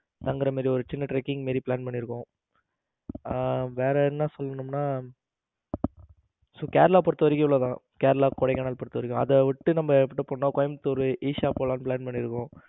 தங்கர மாதிரி ஒரு சின்ன tracking மாதிரி plan பண்ணி இருக்கோம். ஆ வேற என்ன சொல்லணும்னா கேரளா பொருத்தவரைக்கும் இவ்வளவுதான் கேரளா கொடைக்கானல் பொருத்தவரைக்கும் அத விட்டு நம்ம கோயமுத்தூர் ஈஷா போலாம்னு plan பண்ணி இருக்கோம்.